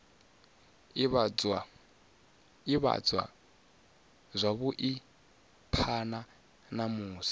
ivhadzwa zwavhui phana ha musi